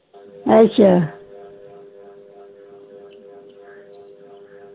ਅਚਾ